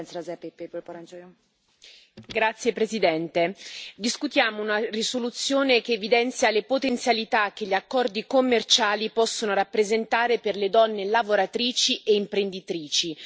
Signora Presidente, onorevoli colleghi, discutiamo una risoluzione che evidenzia le potenzialità che gli accordi commerciali possono rappresentare per le donne lavoratrici e imprenditrici.